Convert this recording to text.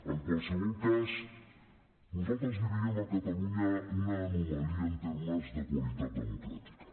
en qualsevol cas nosaltres li veiem a catalunya una anomalia en termes de qualitat democràtica